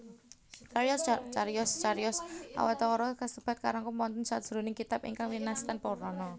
Cariyos cariyos Awatara kasebat karangkum wonten sajroning kitab ingkang winastan Purana